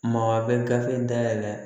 Maa a bɛ gafe dayɛlɛ